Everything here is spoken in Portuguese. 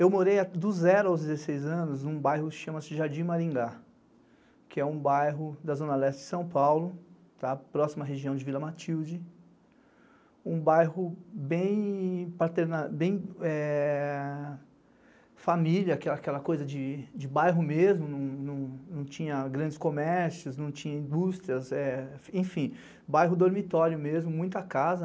Eu morei do zero aos dezesseis anos num bairro que chama-se Jardim Maringá, que é um bairro da Zona Leste de São Paulo, próxima região de Vila Matilde, um bairro bem família, aquela coisa de bairro mesmo, não tinha grandes comércios, não tinha indústrias, enfim, bairro dormitório mesmo, muita casa.